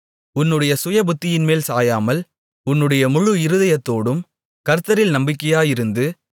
உன்னுடைய சுயபுத்தியின்மேல் சாயாமல் உன்னுடைய முழு இருதயத்தோடும் கர்த்தரில் நம்பிக்கையாக இருந்து